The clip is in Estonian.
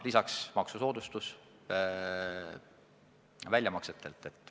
Lisaks veel maksusoodustus väljamaksetelt.